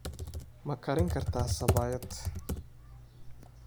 Ma karin kartaa sabaayad?